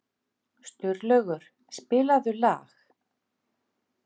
Sturlaugur, spilaðu lag.